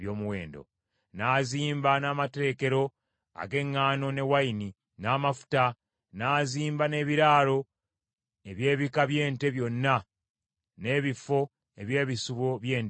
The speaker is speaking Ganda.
N’azimba n’amaterekero ag’eŋŋaano, ne wayini, n’amafuta; n’azimba n’ebiraalo eby’ebika by’ente byonna, n’ebifo eby’ebisibo by’endiga.